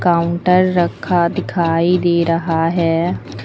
Counter रखा दिखाई दे रहा है।